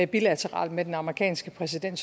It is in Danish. bilateralt med den amerikanske præsident